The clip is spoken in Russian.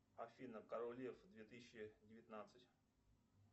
афина король лев две тысячи девятнадцать